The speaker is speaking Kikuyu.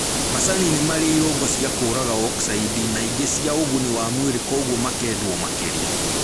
Macani nĩmarĩ irũngo cia kũraga oksaidi na ingĩ cia ũguni wa mwĩlĩ koguo makendwo makĩria